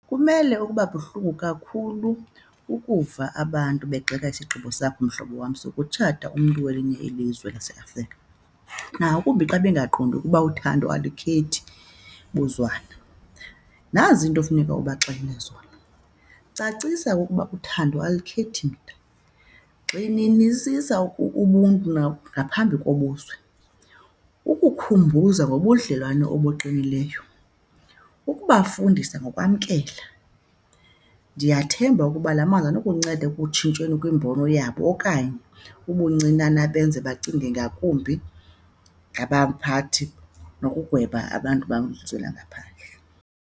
Kumele ukuba buhlungu kakhulu ukuva abantu begxeka isigqibo sakho mhlobo wam sokutshata umntu welinye ilizwe lwaseAfrika, nangakumbi xa bengaqondi ukuba uthando alukhethi buzwana. Nazi iinto efuneka ubaxelele zona. Cacisa ukuba uthando alukhethi mda. Gxininisisa ubuntu nangaphambi kobuzwe, ukukhumbuza ngobudlelwane obuqinileyo, ukubafundisa ngokwamkela. Ndiyathemba ukuba la mazwi anokunceda ekutshintsheni kwimbono yabo okanye ubuncinane benze bacinge ngakumbi ngabaphathi nokugweba abantu bamazwe angaphandle.